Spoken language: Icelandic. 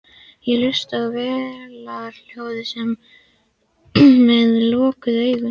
Ég hlusta á vélarhljóðið með lokuðum augum.